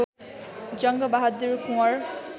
Jang Bahadur Kunwar